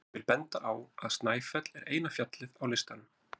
ég vil benda á að snæfell er eina fjallið á listanum